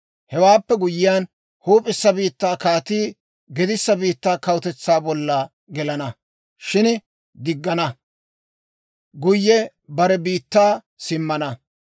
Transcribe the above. Hewaappe guyyiyaan, huup'issa biittaa kaatii gedissa biittaa kawutetsaa bolla gelana; shin diggina, guyye bare biittaa simmana.